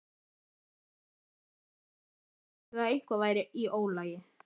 Móttökurnar bentu eindregið til að eitthvað væri í ólagi.